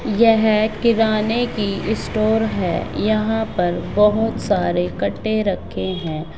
यह किराने की स्टोर है यहां पर बहोत सारे कट्टे रखे है।